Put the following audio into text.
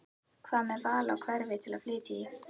Hvað með val á hverfi til að flytja í?